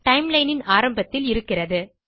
timelineன் ஆரம்பத்தில் இருக்கிறது